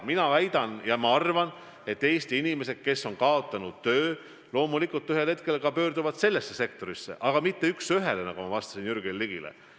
Ma väidan, et Eesti inimesed, kes on kaotanud töö, ühel hetkel pöörduvad ka sellesse sektorisse, aga mitte üks ühele, nagu ma vastasin Jürgen Ligile.